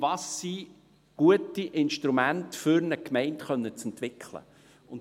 «Welches sind gute Instrumente, um eine Gemeinde entwickeln zu können?